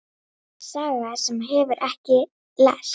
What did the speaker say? Í hvaða skóla er gæinn?